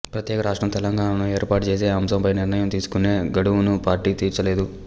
ప్రత్యేక రాష్ట్రం తెలంగాణను ఏర్పాటు చేసే అంశంపై నిర్ణయం తీసుకునే గడువును పార్టీ తీర్చలేదు